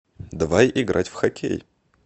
давай играть в хоккей